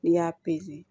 N'i y'a